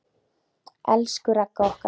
Elsku Ragga okkar.